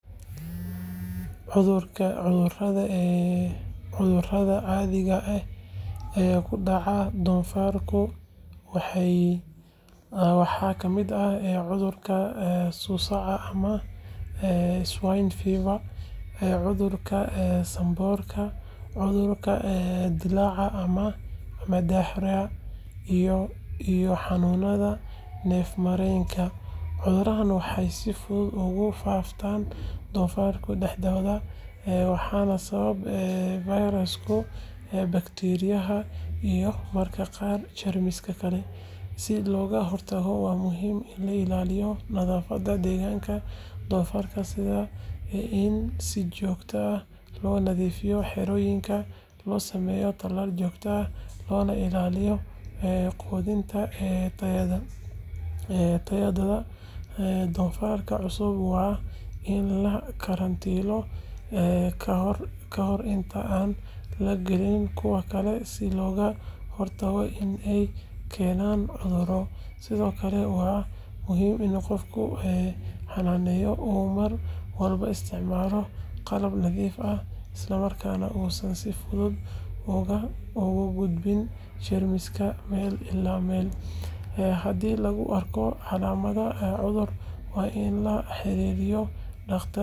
Cudurada caadiga ah ee ku dhaca doofaarka waxaa ka mid ah cudurka suusaca ama "swine fever", cudurka sanboorka, cudurka dillaaca ama "diarrhea", iyo xanuunada neef-mareenka. Cuduradan waxay si fudud ugu faaftaan doofaarka dhexdooda, waxaana sababa fayrasyada, bakteeriyada, iyo mararka qaar jeermisyo kale. Si looga hortago, waa muhiim in la ilaaliyo nadaafadda deegaanka doofaarka, sida in si joogto ah loo nadiifiyo xerooyinka, loo sameeyo talaal joogto ah, loona ilaaliyo quudinta tayadeeda. Doofaarrada cusub waa in la karantiilo ka hor inta aan la gelin kuwa kale si looga hortago in ay keenaan cudurro. Sidoo kale, waa muhiim in qofka xanaaneynaya uu mar walba isticmaalo qalab nadiif ah isla markaana uusan si fudud uga gudbin jeermisyo meel ilaa meel. Haddii lagu arko calaamado cudur, waa in la la xiriiro dhakhtar xoolaha si degdeg ah. Ka hortagga cudurrada doofaarka wuxuu u baahan yahay feejignaan, nadaafad, iyo daryeel joogto ah.